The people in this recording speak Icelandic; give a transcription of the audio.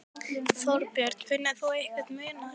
Þorbjörn: Finnur þú einhvern mun á þessu?